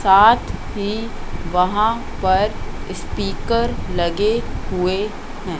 साथ ही वहां पर स्पीकर लगे हुए हैं।